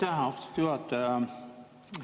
Aitäh, austatud juhataja!